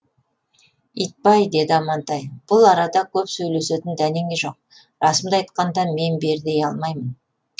итбай деді амантай бұл арада көп сөйлесетін дәнеңе жоқ расымды айтқанда мен бер дей алмаймын